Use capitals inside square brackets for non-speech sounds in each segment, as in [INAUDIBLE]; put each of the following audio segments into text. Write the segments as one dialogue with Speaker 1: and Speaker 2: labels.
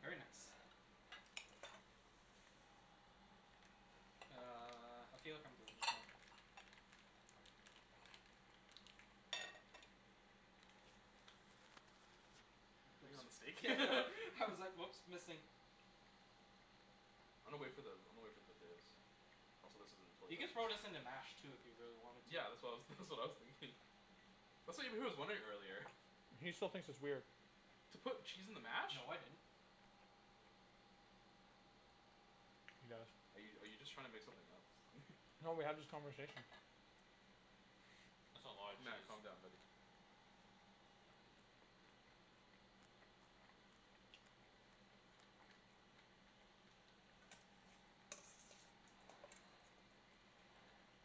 Speaker 1: very nice. Uh, I feel like I'm doing this wrong.
Speaker 2: You putting it on the steak? [LAUGHS]
Speaker 1: I was like oops, missing.
Speaker 2: I'ma wait for the- I'ma wait for the potatoes. I'm solicited in
Speaker 1: You
Speaker 2: the
Speaker 1: could throw
Speaker 2: toilet.
Speaker 1: this in the mash too if you really wanted to.
Speaker 2: Yeah. That's what I was [LAUGHS] that's what I was thinking. That's what Ibrahim was wondering earlier.
Speaker 3: He still thinks it's weird.
Speaker 2: To put cheese in the mash?
Speaker 1: No, I didn't.
Speaker 3: [NOISE] He does.
Speaker 2: Are you are you just trying to make something up? [LAUGHS]
Speaker 3: No, we had this conversation.
Speaker 4: That's a lotta
Speaker 2: Matt,
Speaker 4: cheese.
Speaker 2: calm down buddy.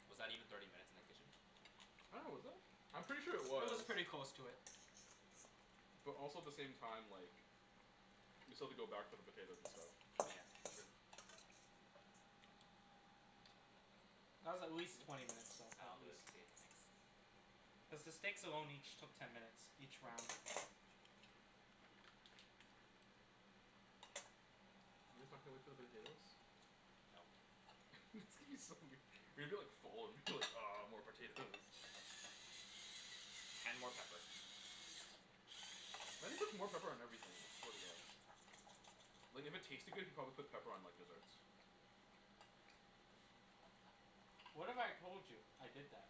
Speaker 4: Was that even thirty minutes in the kitchen?
Speaker 2: I dunno was it? I'm pretty sure it
Speaker 1: It was
Speaker 2: was.
Speaker 1: pretty close to it.
Speaker 2: But also the same time like We still have to go back for the potatoes and stuff.
Speaker 4: Yeah. That's true.
Speaker 1: That was at least twenty minutes long, at least. Cuz the steaks alone each took ten minutes, each round.
Speaker 2: You guys [NOISE] can't wait for the potatoes? [LAUGHS] It's gonna be so weir- you're gonna be like full and be like "Ah more potatoes."
Speaker 4: And more pepper.
Speaker 2: Matt just puts more pepper on everything, I swear to God. Like if it tasted good, he'd probably put pepper on like desserts.
Speaker 1: What if I told you I did that?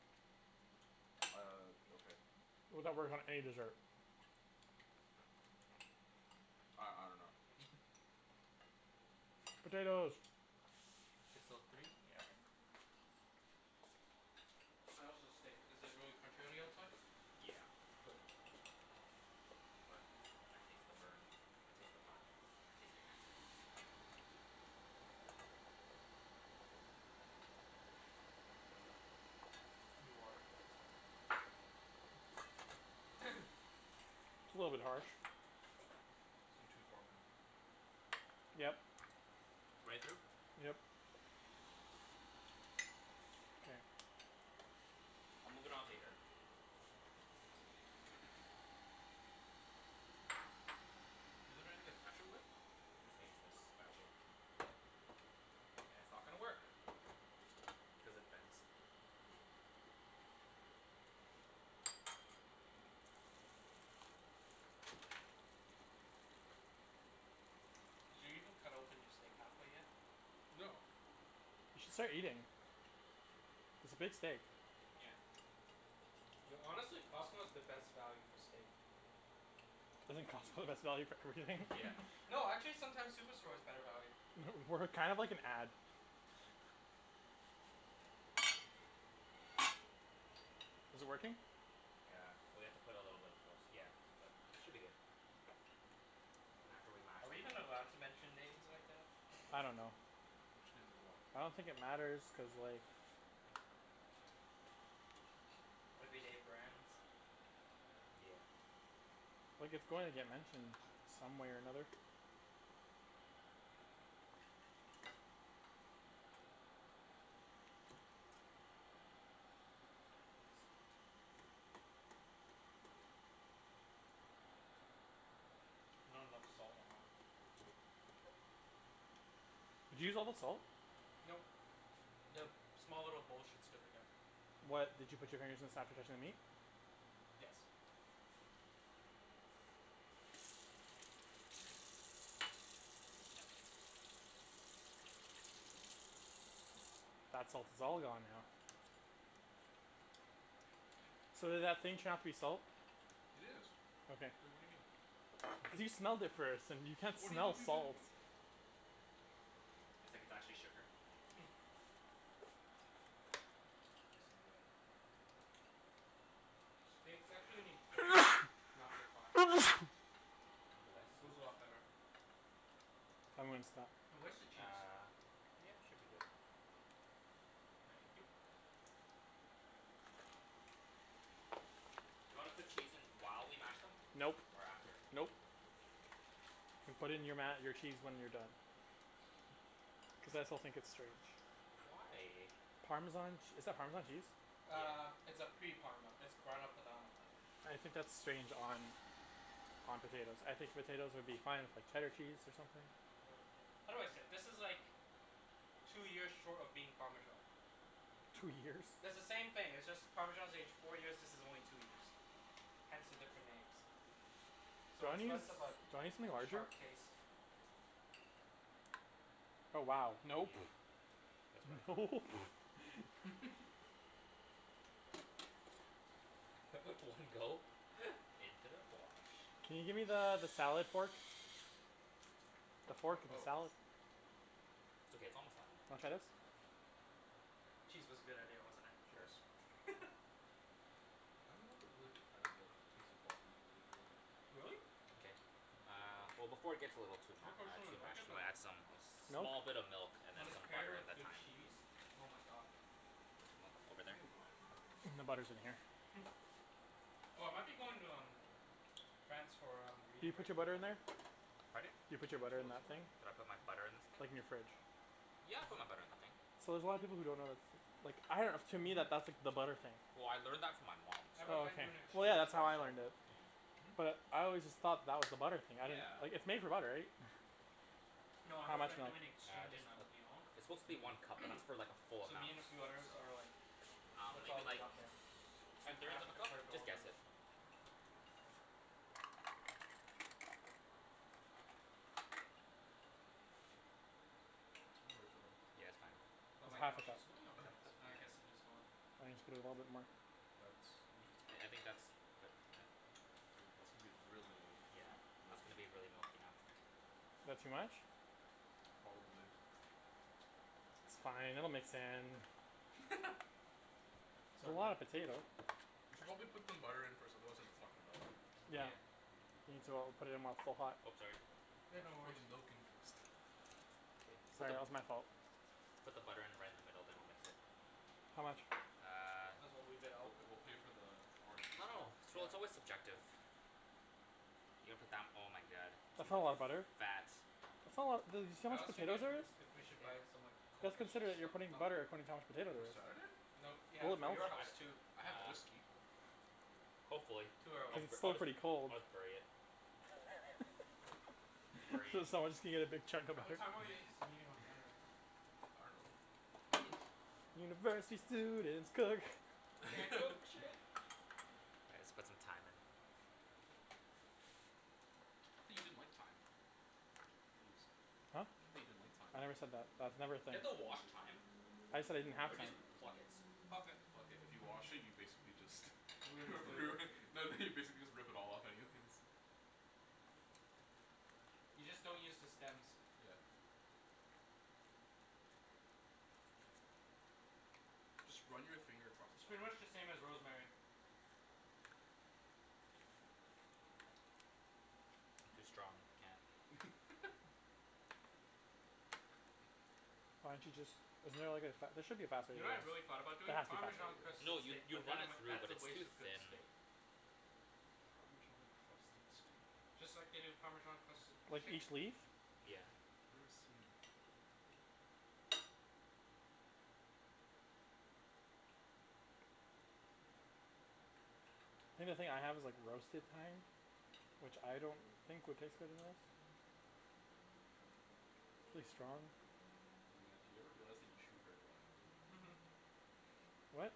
Speaker 2: Uh, okay.
Speaker 3: How that works on any dessert?
Speaker 2: I- I dunno [LAUGHS]
Speaker 3: Potatoes.
Speaker 4: Six O three? Yeah, okay.
Speaker 1: How is the steak? Is it really crunchy on the outside?
Speaker 4: Yeah.
Speaker 1: Good.
Speaker 4: But I taste the burn. I taste the black. I taste the cancer.
Speaker 1: You are a cancer. [NOISE]
Speaker 3: It's a little bit harsh.
Speaker 2: It's going too far man.
Speaker 3: Yep.
Speaker 4: Right through?
Speaker 3: Yep. Mkay.
Speaker 4: I'll move it onto here. [NOISE]
Speaker 2: Want anything to mash it with?
Speaker 4: I'm just gonna use this spatula. And it's not gonna work cuz it bends.
Speaker 1: Did you even cut open your steak half way yet?
Speaker 2: No.
Speaker 3: We should start eating. It's a big steak.
Speaker 4: Yeah.
Speaker 1: Yo, honestly, Costco is the best value for steak.
Speaker 3: Isn't Costco the best value for everything?
Speaker 4: [LAUGHS]
Speaker 3: [LAUGHS]
Speaker 4: Yeah.
Speaker 1: No, actually sometimes Superstore is better value.
Speaker 3: We're kind of like an ad. [LAUGHS] Is it working?
Speaker 4: Yeah. Well, you have to put a little bit of force, yeah. But, should be good. Then after we mash
Speaker 1: Are we
Speaker 4: them
Speaker 1: even allowed
Speaker 4: all.
Speaker 1: to mention names like that? [LAUGHS]
Speaker 3: I don't know.
Speaker 2: Mention names like what?
Speaker 3: I don't think it matters cuz like.
Speaker 1: Everyday brands?
Speaker 4: Yeah.
Speaker 3: Like it's going to get mentioned some way or another.
Speaker 1: Not enough salt.
Speaker 3: Did you use all the salt?
Speaker 1: Nope. The small little bowl should still be there.
Speaker 3: What? Did you put your fingers inside but there is no meat?
Speaker 1: Yes. [LAUGHS]
Speaker 3: That salt is all gone now. So did that thing turn out to be salt?
Speaker 2: It is.
Speaker 3: Okay.
Speaker 2: Wait, what do you mean?
Speaker 3: [LAUGHS] Because you smelled it first and you can't
Speaker 2: What do you
Speaker 3: smell
Speaker 2: think we've been
Speaker 3: salt.
Speaker 4: It's like it's actually sugar.
Speaker 1: [NOISE]
Speaker 2: Nice and red, like that.
Speaker 1: Steaks actually need coarse salt. Not refined.
Speaker 3: [NOISE]
Speaker 4: Bless you.
Speaker 1: Goes a lot better.
Speaker 3: I'm goin' stop.
Speaker 1: Now where's the cheese?
Speaker 4: Uh yeah should be good.
Speaker 1: Thank you.
Speaker 4: Do you wanna put cheese in while we mash them?
Speaker 3: Nope,
Speaker 4: Or after?
Speaker 3: nope. You put it in your ma- your cheese when you're done. Cuz I still think it's strange.
Speaker 4: Why?
Speaker 3: Parmesan ch- is that Parmesan cheese?
Speaker 1: Uh
Speaker 4: Yeah.
Speaker 1: it's a pre parma. It's Grana Padano
Speaker 3: I think that's strange on on potatoes. I think potatoes would be fine with like cheddar cheese or something.
Speaker 1: How do I say it? This is like Two years short of being Parmesan.
Speaker 3: Two years?
Speaker 1: It's the same thing. It's just Parmesan is aged four years, this is only two years. Hence the different names.
Speaker 3: Do
Speaker 1: So
Speaker 3: you
Speaker 1: it's
Speaker 3: wanna use
Speaker 1: less
Speaker 3: do
Speaker 1: of
Speaker 3: you
Speaker 1: a
Speaker 3: wanna use something larger?
Speaker 1: sharp taste.
Speaker 3: Oh wow
Speaker 4: Yeah.
Speaker 3: nope
Speaker 4: That's what I thought.
Speaker 3: Nope [NOISE] [LAUGHS]
Speaker 2: [LAUGHS] You need that.
Speaker 1: [NOISE]
Speaker 4: [LAUGHS] One go into the fwosh.
Speaker 3: Can you gimme the the salad fork? The
Speaker 2: Fork?
Speaker 3: fork of a
Speaker 2: Oh.
Speaker 3: salad?
Speaker 4: It's okay, it's almost done.
Speaker 3: Wanna try this?
Speaker 1: Cheese was a good idea, wasn't it.
Speaker 4: Sure.
Speaker 2: Yes.
Speaker 1: [LAUGHS]
Speaker 2: I'm not the really big fan of like taste of raw a- arugula.
Speaker 1: Really?
Speaker 2: No,
Speaker 4: K,
Speaker 2: not my favorite
Speaker 4: uh
Speaker 2: veg.
Speaker 4: well before it gets a little too
Speaker 1: [NOISE]
Speaker 4: ma- uh
Speaker 1: personally
Speaker 4: too
Speaker 1: like
Speaker 4: mashed
Speaker 1: it but
Speaker 4: we'll add some
Speaker 3: Nope.
Speaker 4: small bit of milk and then
Speaker 1: When it's
Speaker 4: some
Speaker 1: paired
Speaker 4: butter and
Speaker 1: with
Speaker 4: the
Speaker 1: good
Speaker 4: thyme.
Speaker 1: cheese. Oh my god.
Speaker 4: Where's the milk? Over there?
Speaker 2: We need wine for today.
Speaker 3: I think the butter's in here.
Speaker 1: [NOISE] Oh I might be going to um France for um
Speaker 3: Did you
Speaker 1: reading
Speaker 3: put
Speaker 1: break
Speaker 3: your
Speaker 1: in
Speaker 3: butter in there?
Speaker 1: February.
Speaker 4: Pardon?
Speaker 3: You
Speaker 2: I
Speaker 3: put
Speaker 2: think
Speaker 3: your
Speaker 2: you
Speaker 3: butter in
Speaker 2: told us
Speaker 3: that thing?
Speaker 2: already.
Speaker 4: Did I put my
Speaker 1: Mhm.
Speaker 4: butter in this thing?
Speaker 3: Like in your fridge.
Speaker 4: Yeah, I put my butter in the thing.
Speaker 3: So there's a lotta people who don't know that's like I dunno to me
Speaker 1: Mhm.
Speaker 3: that that's the butter thing.
Speaker 4: Well I learned that from my mom
Speaker 1: I have a
Speaker 3: Oh
Speaker 1: friend
Speaker 3: okay,
Speaker 1: doing
Speaker 3: well
Speaker 4: so [INAUDIBLE]
Speaker 3: yeah
Speaker 1: exchange
Speaker 3: that's how
Speaker 1: there
Speaker 3: I
Speaker 1: so
Speaker 3: learned it.
Speaker 4: [NOISE]
Speaker 2: Hmm?
Speaker 3: But I always just thought that was the butter thing. I didn't - - like
Speaker 4: Yeah.
Speaker 3: it's made for butter right? [LAUGHS]
Speaker 4: [LAUGHS]
Speaker 1: No I have
Speaker 3: How
Speaker 1: a
Speaker 3: much
Speaker 1: friend
Speaker 3: milk?
Speaker 1: doing
Speaker 4: Uh
Speaker 1: exchange
Speaker 4: just
Speaker 1: in
Speaker 4: uh
Speaker 1: um Lyon
Speaker 4: it's supposed to be one
Speaker 2: Mmm.
Speaker 4: cup but that's like for like a
Speaker 1: [NOISE]
Speaker 4: full
Speaker 1: So
Speaker 4: amount
Speaker 1: me and a few others
Speaker 4: so.
Speaker 1: are like
Speaker 4: Um
Speaker 1: "Let's all
Speaker 4: maybe
Speaker 1: meet
Speaker 4: like t-
Speaker 1: up there
Speaker 4: two
Speaker 1: and
Speaker 4: thirds
Speaker 1: crash
Speaker 4: of a
Speaker 1: he-
Speaker 4: cup?
Speaker 1: her
Speaker 4: Just
Speaker 1: dorm
Speaker 4: guess
Speaker 1: room."
Speaker 4: it.
Speaker 2: We'll wait for them.
Speaker 4: Yeah, it's fine.
Speaker 1: Oh
Speaker 3: It's
Speaker 1: wait no
Speaker 3: half a cup.
Speaker 1: she's living on
Speaker 4: Half a
Speaker 2: [NOISE]
Speaker 1: rez.
Speaker 4: cup?
Speaker 1: Uh I
Speaker 4: Okay.
Speaker 1: guess it is dorm.
Speaker 3: Why don't you put a little bit more?
Speaker 2: That's are you supposed
Speaker 4: I I
Speaker 2: to?
Speaker 4: think that's quite [NOISE]
Speaker 2: Ooh, that's gonna be really
Speaker 4: Yeah, that's gonna
Speaker 2: milky.
Speaker 4: be really milky now.
Speaker 3: That too much?
Speaker 2: Probably.
Speaker 3: It's fine. It'll mix in.
Speaker 2: [LAUGHS]
Speaker 3: It's a lot of
Speaker 1: [NOISE]
Speaker 3: potato
Speaker 2: We should probably put some butter in first otherwise it's not gonna melt.
Speaker 3: Yeah
Speaker 4: Yeah.
Speaker 3: Need to o- put it in while it's still hot.
Speaker 4: Oh sorry.
Speaker 1: Yeah,
Speaker 2: Why'd
Speaker 1: no
Speaker 2: you pour the
Speaker 1: worries.
Speaker 2: milk in first?
Speaker 3: Sorry, that was my fault.
Speaker 4: Put the butter in right in the middle then I'll mix it.
Speaker 3: How much?
Speaker 4: Uh.
Speaker 1: Might as well leave it
Speaker 2: We'll
Speaker 1: out.
Speaker 2: p- we'll pay for the
Speaker 4: I
Speaker 2: orange juice
Speaker 4: dunno.
Speaker 2: too.
Speaker 4: It's real-
Speaker 1: Yeah.
Speaker 4: it's always subjective. You're gonna put down oh my god.
Speaker 3: That's
Speaker 4: It's
Speaker 3: not a lot of
Speaker 4: gonna
Speaker 3: butter.
Speaker 4: fat
Speaker 3: That's not a lotta dude you see how
Speaker 1: I
Speaker 3: much
Speaker 1: was thinking
Speaker 3: potatoes
Speaker 1: of
Speaker 3: there is?
Speaker 1: [NOISE] if we should buy some like
Speaker 3: Let's
Speaker 1: coke or sh-
Speaker 3: consider that
Speaker 1: stuff
Speaker 3: you're putting
Speaker 1: up here.
Speaker 3: butter according to how much potato
Speaker 2: For
Speaker 3: there is.
Speaker 2: Saturday?
Speaker 1: No yeah
Speaker 3: Will it
Speaker 1: for
Speaker 3: melt?
Speaker 1: your
Speaker 4: I
Speaker 1: house
Speaker 4: d-
Speaker 1: too.
Speaker 2: I have
Speaker 4: uh
Speaker 2: whiskey.
Speaker 4: Hopefully
Speaker 1: Too
Speaker 4: I'll
Speaker 3: Cuz
Speaker 1: early.
Speaker 4: b-
Speaker 3: it's
Speaker 4: I'll,
Speaker 3: still pretty cold.
Speaker 4: I'll just bury it.
Speaker 3: [LAUGHS]
Speaker 4: Bury it.
Speaker 3: So someone's just gonna get a big chunk of
Speaker 1: What
Speaker 3: butter?
Speaker 1: time are we s- meeting on Saturday?
Speaker 2: I dunno.
Speaker 1: [NOISE]
Speaker 3: University students cook.
Speaker 4: Can't cook for
Speaker 2: [LAUGHS]
Speaker 4: shit. All right let's put some thyme in.
Speaker 2: I thought you didn't like thyme. Ibs.
Speaker 3: Huh?
Speaker 2: Thought you didn't like thyme.
Speaker 3: I never said that. That's
Speaker 4: Do
Speaker 3: never a thing.
Speaker 4: you have to wash thyme?
Speaker 3: I just said I didn't have
Speaker 4: Or do you
Speaker 3: thyme.
Speaker 4: just pluck it?
Speaker 1: Pluck it.
Speaker 2: Pluck it. If you wash it you basically just [LAUGHS]
Speaker 1: Ruin the flavor.
Speaker 2: ruin no no you basically just rip it all off anyways.
Speaker 1: You just don't use the stems.
Speaker 2: Yeah. Just run your finger across the
Speaker 1: It's pretty
Speaker 2: thyme.
Speaker 1: much the same as rosemary.
Speaker 4: Too strong. Can't.
Speaker 2: [LAUGHS]
Speaker 3: Why didn't you just isn't there like a fa- there should be a faster
Speaker 1: You
Speaker 3: way to
Speaker 1: know
Speaker 3: do
Speaker 1: what I really
Speaker 3: this.
Speaker 1: thought about
Speaker 3: There
Speaker 1: doing?
Speaker 3: has to be a faster
Speaker 1: Parmesan
Speaker 3: way to
Speaker 1: crusted
Speaker 4: No
Speaker 3: do this.
Speaker 4: you
Speaker 1: steak.
Speaker 4: you
Speaker 1: But then
Speaker 4: run
Speaker 1: I'm
Speaker 4: it
Speaker 1: like,
Speaker 4: through
Speaker 1: that's
Speaker 4: but
Speaker 1: a
Speaker 4: it's
Speaker 1: waste
Speaker 4: too
Speaker 1: of good
Speaker 4: thin.
Speaker 1: steak.
Speaker 2: Parmesan crusted steak?
Speaker 1: Just like they do Parmesan crusted
Speaker 3: Like
Speaker 1: chicken.
Speaker 3: each leaf?
Speaker 4: Yeah.
Speaker 2: I've never seen it though.
Speaker 3: Think the thing I have is like roasted thyme Which I don't think would taste better than this. It's really strong.
Speaker 2: Matt, do you ever realize that you chew very loudly?
Speaker 1: Mhm.
Speaker 3: What?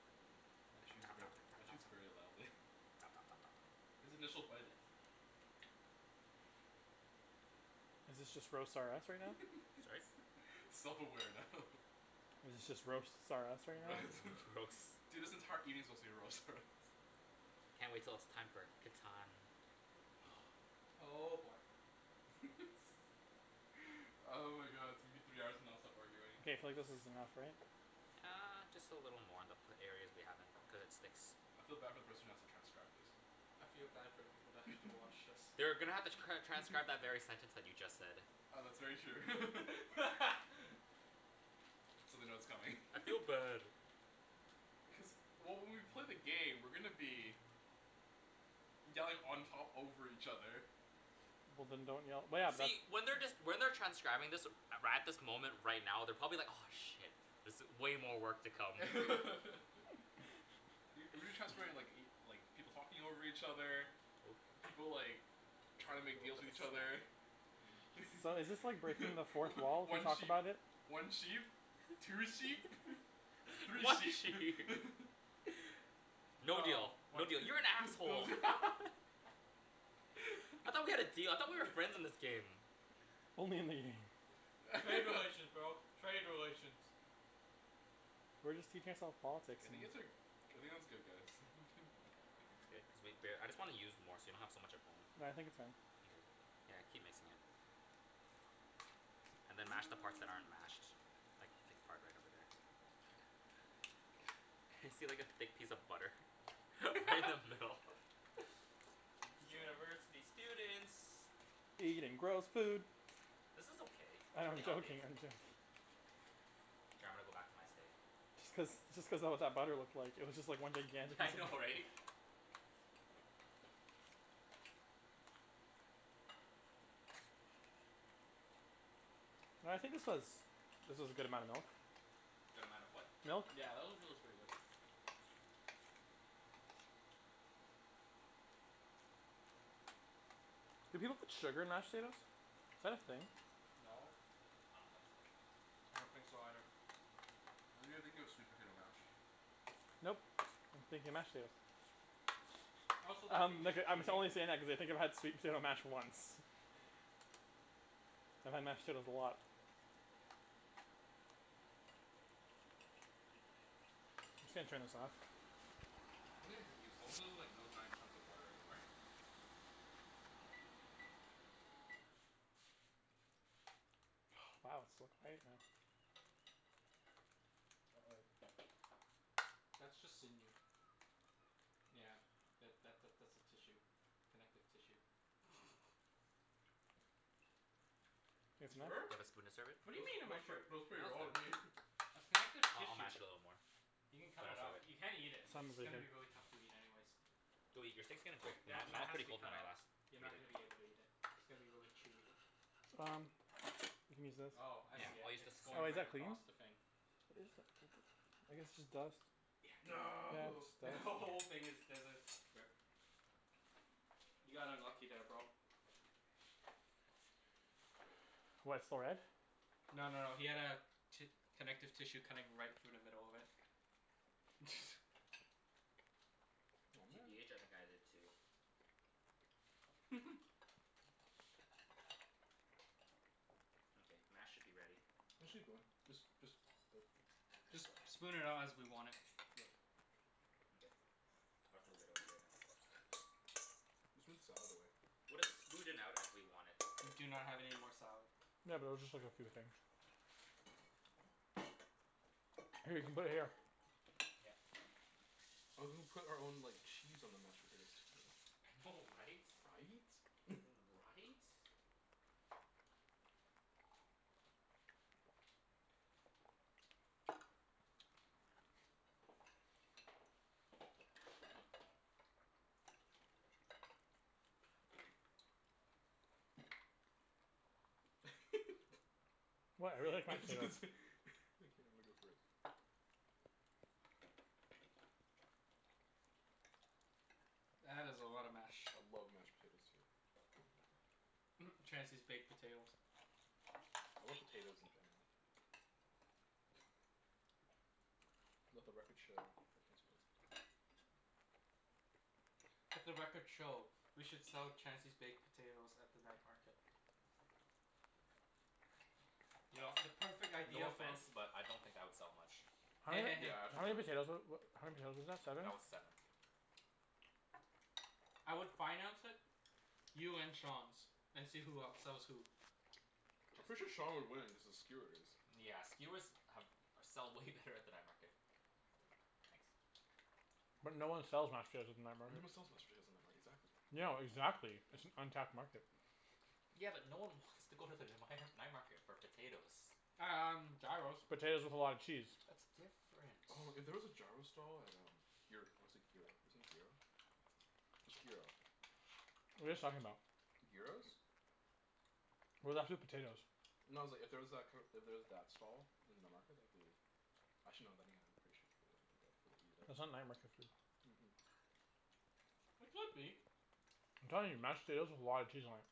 Speaker 2: Matt chews ver- Matt chews very loudly [LAUGHS]
Speaker 4: [NOISE]
Speaker 2: His initial bite i- [NOISE]
Speaker 3: Is this just roast R us right now?
Speaker 4: Sorry?
Speaker 2: [LAUGHS] Self aware now.
Speaker 3: Is it just roasts R us
Speaker 2: [NOISE]
Speaker 3: right now?
Speaker 4: R-
Speaker 2: [LAUGHS]
Speaker 4: roast
Speaker 2: dude this entire evening's supposed to be roast R us.
Speaker 4: Can't wait till it's time for Catan.
Speaker 1: Oh boy.
Speaker 2: [LAUGHS] [NOISE] Oh my god it's gonna be three hours of nonstop arguing.
Speaker 3: K, I feel like this is enough, right?
Speaker 4: Uh just a little more they'll put areas we haven't cuz it sticks.
Speaker 2: I feel bad for the person who has to transcribe this.
Speaker 1: I feel bad for the people that have to watch
Speaker 2: [LAUGHS]
Speaker 1: this.
Speaker 4: They're gonna have to cr- transcribe that very sentence that you just said.
Speaker 2: Oh that's very true. [LAUGHS]
Speaker 1: [LAUGHS]
Speaker 2: So they know it's coming. [LAUGHS]
Speaker 4: I feel bad.
Speaker 2: Cuz well when we play the game we're gonna be Yelling on top over each other.
Speaker 3: Well then don't yell well yeah the
Speaker 4: See when they're just when they're transcribing this right at this moment right now they're probably like aw shit. This i- way more work to come.
Speaker 2: [LAUGHS] Y- we've been transcribing like y- like people talking over each other.
Speaker 4: [NOISE]
Speaker 2: People like trying to make
Speaker 4: [INAUDIBLE] little
Speaker 2: deals
Speaker 4: put
Speaker 2: with
Speaker 4: the
Speaker 2: each
Speaker 4: stem.
Speaker 2: other. [LAUGHS]
Speaker 3: So is this like breaking the fourth wall to
Speaker 2: One
Speaker 3: talk
Speaker 2: sheep
Speaker 3: about it?
Speaker 2: one sheep Two sheep [LAUGHS] three
Speaker 4: One
Speaker 2: sheep
Speaker 4: sheep
Speaker 2: [LAUGHS]
Speaker 4: [LAUGHS] No deal
Speaker 1: No, one
Speaker 4: no deal
Speaker 1: sheep.
Speaker 4: you're an
Speaker 2: [LAUGHS] no
Speaker 4: asshole.
Speaker 2: [LAUGHS]
Speaker 4: I thought we had a deal I thought we were friends in this
Speaker 2: [LAUGHS]
Speaker 4: game.
Speaker 3: Only in the game.
Speaker 1: Trade relations,
Speaker 2: [LAUGHS]
Speaker 1: bro, trade relations.
Speaker 3: We're just teaching ourself politics
Speaker 2: I
Speaker 3: [NOISE]
Speaker 2: think it's uh I think it's good guys [LAUGHS]
Speaker 4: It's good cuz we bare- I just wanna use more so we don't have so much at home.
Speaker 3: Well I think it's fine.
Speaker 4: Mkay, yeah keep mixing it. And then mash the parts that aren't
Speaker 2: [NOISE]
Speaker 4: mashed like thick part right over there. [LAUGHS] see like a thick piece of butter. [LAUGHS] Right in the
Speaker 2: [LAUGHS]
Speaker 4: middle.
Speaker 2: Can you keep going
Speaker 4: University students
Speaker 3: Eating gross food.
Speaker 4: This is okay,
Speaker 3: I
Speaker 4: it's
Speaker 3: know I'm
Speaker 4: pretty healthy.
Speaker 3: joking I'm jo-
Speaker 4: K, I'm gonna go back to my steak.
Speaker 3: Just cuz just cuz that what that butter looked like. It was just one
Speaker 4: [LAUGHS]
Speaker 3: gigantic
Speaker 4: Yeah I know
Speaker 3: piece.
Speaker 4: right?
Speaker 3: No I think this was this was a good amount of milk.
Speaker 4: Good amount of what?
Speaker 3: Milk
Speaker 2: Yeah that actually looks pretty good.
Speaker 3: Do people put sugar in mashed potatoes? Is that a thing?
Speaker 2: No.
Speaker 4: I don't think so.
Speaker 1: I don't think so either.
Speaker 2: I think you're thinking of sweet potato mash.
Speaker 3: Nope, I'm thinking mashed potatoes.
Speaker 1: Also that'd
Speaker 3: Um
Speaker 1: be
Speaker 3: like
Speaker 1: just
Speaker 3: uh I'm t-
Speaker 1: cheating.
Speaker 3: only saying that cuz I've had sweet potato mash once. [LAUGHS] I've had mashed potatoes a lot. I'm just gonna turn this off.
Speaker 2: I think you're good Ibs as long as there's like no giant chunks of butter anywhere. [LAUGHS]
Speaker 3: [NOISE] Wow it's so quiet now.
Speaker 2: Uh oh.
Speaker 1: That's just sinew. Yeah. Yeah that that that's a tissue. Connective tissue. [LAUGHS]
Speaker 3: It's
Speaker 2: You
Speaker 3: enough?
Speaker 4: Do
Speaker 2: sure?
Speaker 4: you have a spoon to serve it?
Speaker 1: What do
Speaker 2: Ni-
Speaker 1: you mean am I
Speaker 2: nice
Speaker 1: sure?
Speaker 2: trick, looks pretty
Speaker 4: Now
Speaker 2: raw to
Speaker 4: it's
Speaker 2: me.
Speaker 4: good.
Speaker 1: That's connective
Speaker 4: Uh I'll
Speaker 1: tissue.
Speaker 4: mash it a little more.
Speaker 1: You can cut
Speaker 4: Then
Speaker 1: it
Speaker 4: I'll serve
Speaker 1: out.
Speaker 4: it.
Speaker 1: You can't eat it. It's
Speaker 3: Simon's really
Speaker 1: gonna be really
Speaker 3: good.
Speaker 1: tough to eat
Speaker 4: [NOISE]
Speaker 1: anyways.
Speaker 4: Go eat, your steak's getting cold.
Speaker 1: Like
Speaker 4: Mine,
Speaker 1: that
Speaker 4: mine
Speaker 1: that
Speaker 4: was
Speaker 1: has to
Speaker 4: pretty
Speaker 1: be
Speaker 4: cold
Speaker 1: cut
Speaker 4: when I
Speaker 1: out.
Speaker 4: last
Speaker 1: You're
Speaker 4: ate
Speaker 1: not gonna be
Speaker 4: it.
Speaker 1: able to eat it. It's gonna be really chewy.
Speaker 3: Um You can use this.
Speaker 1: Oh I
Speaker 4: Yeah,
Speaker 1: see it.
Speaker 4: I'll use this
Speaker 1: It's
Speaker 4: to
Speaker 3: Oh
Speaker 1: going
Speaker 3: is
Speaker 1: right
Speaker 3: that
Speaker 4: clean.
Speaker 3: clean?
Speaker 1: across the thing.
Speaker 3: I guess it's just dust. Yeah
Speaker 2: No
Speaker 3: it's
Speaker 1: The who- [LAUGHS]
Speaker 3: dust.
Speaker 1: whole
Speaker 4: Mkay.
Speaker 1: thing there's a rip. You got unlucky there bro.
Speaker 3: What, it's still red?
Speaker 1: No no no he had a ti- connective tissue cutting right through the middle of it.
Speaker 3: [NOISE]
Speaker 1: [LAUGHS]
Speaker 2: Oh man.
Speaker 4: TBH I think I did too.
Speaker 2: [LAUGHS]
Speaker 4: Mkay, mash should be ready.
Speaker 2: Actually good just just [NOISE]
Speaker 4: Just
Speaker 1: Just
Speaker 4: lips?
Speaker 1: spoon it out as we want it.
Speaker 2: Yep.
Speaker 4: Mkay. I'll just move it over there then.
Speaker 2: Let's put the salad away.
Speaker 4: We'll just smooth it out as we want it.
Speaker 1: We do not have any more salad.
Speaker 3: Yeah but it was just like a few things. Here you can put it here.
Speaker 4: Yeah.
Speaker 2: I was gonna put our own like cheese on the mashed potatoes. [NOISE]
Speaker 4: I know right?
Speaker 2: Right? [LAUGHS]
Speaker 4: Right?
Speaker 2: [LAUGHS]
Speaker 3: What?
Speaker 2: [LAUGHS]
Speaker 3: I really like my
Speaker 2: I
Speaker 3: potatoes.
Speaker 2: just, think I'ma go for it.
Speaker 1: That is a lot of mash.
Speaker 2: I love mashed potatoes too.
Speaker 1: [LAUGHS] Chancey's baked potatoes.
Speaker 2: I love potatoes in general. Let the records show that Chancey loves potatoes.
Speaker 1: Let the records show we should sell Chancey's baked potatoes at the night market. Yo, the perfect
Speaker 4: No
Speaker 1: idea for
Speaker 4: offense, but I don't think that would sell much.
Speaker 3: How
Speaker 1: Hey
Speaker 3: many
Speaker 1: hey hey.
Speaker 2: Yeah,
Speaker 3: how
Speaker 2: actually
Speaker 3: many
Speaker 2: wouldn't.
Speaker 3: potatoes wa- wa- how many potatoes was that? Seven?
Speaker 4: That was seven.
Speaker 1: I would finance it. You and Sean's, and see who outsells who.
Speaker 2: I'm
Speaker 4: Just
Speaker 2: pretty
Speaker 4: be-
Speaker 2: sure
Speaker 4: shh
Speaker 2: Sean would win, cuz of skewers.
Speaker 4: Yeah skewers have or sell way better at the night market. I'll take it. Thanks.
Speaker 3: But no one sells mashed potatoes at the night
Speaker 2: [NOISE]
Speaker 3: market.
Speaker 2: sells mashed potatoes night mar- exactly.
Speaker 3: No, exactly, it's an untapped market.
Speaker 4: Yeah but no one wants to go to the the mighnar- night market for potatoes.
Speaker 1: Um gyros.
Speaker 3: Potatoes with a lot of cheese.
Speaker 4: That's different.
Speaker 2: Oh if there was a gyro stall at um gyr- or is it gyro, isn't it gyro? It's gyro.
Speaker 3: What are you guys talking about?
Speaker 2: Gyros?
Speaker 3: We're left with potatoes.
Speaker 2: No it's like if there was that kinda, if there was that stall in the night market that'd be Actually no then again pretty sure should go grab for the eat at
Speaker 3: That's not night market food.
Speaker 2: Mhm.
Speaker 1: It could be.
Speaker 3: I'm telling you. Mashed potatoes with a lot of cheese on it.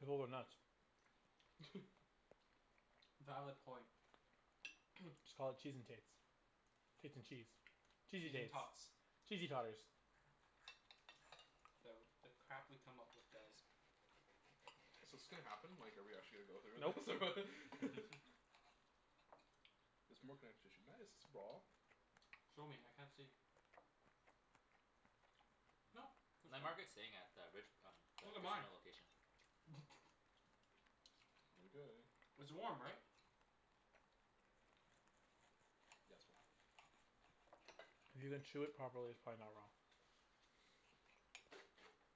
Speaker 3: People would nuts.
Speaker 1: Valid point.
Speaker 3: Just call it "Cheese N tates" "Tates N cheese" "Cheesey
Speaker 1: Cheese N
Speaker 3: tates"
Speaker 1: tots.
Speaker 3: "Cheesey totters."
Speaker 1: The the crap we come up with, guys.
Speaker 2: So 's this gonna happen? Like are we actually gonna go through with this
Speaker 3: Nope.
Speaker 2: or? [LAUGHS]
Speaker 4: [LAUGHS]
Speaker 2: There's more connective tissue. Nice [NOISE]
Speaker 1: Show me, I can't see. Nope,
Speaker 4: [NOISE]
Speaker 1: that's
Speaker 4: Night
Speaker 1: fine.
Speaker 4: market's staying at the Rich- um the
Speaker 1: Look at mine.
Speaker 4: casino location.
Speaker 2: Mkay.
Speaker 1: It's warm, right?
Speaker 3: If you can chew it properly, it's probably not raw.